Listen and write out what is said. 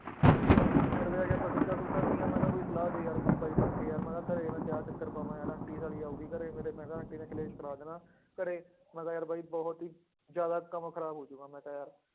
Side ਤੇ ਜਾ ਕੇ ਆਪਾਂ ਸਿਗਰਟਾਂ ਸੂਗਰਟਾਂ ਪੀਈਆਂ ਮੈਂ ਕਿਹਾ ਕੋਈ ਸਲਾਹ ਦੇ ਯਾਰ ਕੋਈ ਬਾਈ ਬਣਕੇ ਯਾਰ ਮੈਂ ਕਿਹਾ ਘਰੇ ਮੈਂ ਤੇ ਆਹ ਚੱਕਰ ਪਾਵਾਂ ਯਾਰ ਆਂਟੀ ਸਾਲੀ ਆਊਗੀ ਘਰੇ ਮੇਰੇ ਮੈਂ ਕਿਹਾ ਆਂਟੀ ਨੇ ਕਲੇਸ਼ ਕਰਾ ਦੇਣਾ ਘਰੇ, ਮੈਂ ਕਿਹਾ ਯਾਰ ਬਾਈ ਬਹੁਤ ਹੀ ਜ਼ਿਆਦਾ ਕੰਮ ਖ਼ਰਾਬ ਹੋ ਜਾਊਗਾ ਮੈਂ ਤਾਂ ਯਾਰ